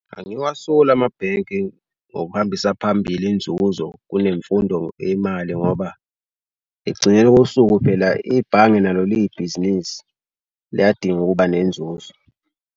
Angiwasoli amabhenki ngokuhambisa phambili inzuzo kunemfundo yemali ngoba ekugcineni kosuku phela ibhange nalo liyibhizinisi liyadinga ukuba nenzuzo.